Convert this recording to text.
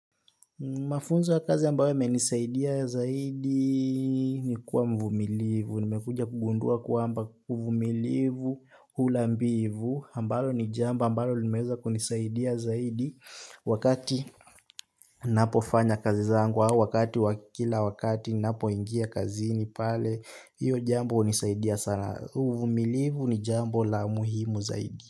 Mafunzo ya kazi ambawo yamenisaidia zaidi ni kuwa mvumilivu. Nimekuja kugundua kuamba uhumilivu hula mbivu. Ambalo ni jambo ambalo limeza kunisaidia zaidi. Wakati napofanya kazi zangu au wakati wakila wakati napoingia kazini pale. Hiyo jambo unisaidia sana. Huvumilivu ni jambo la muhimu zaidi.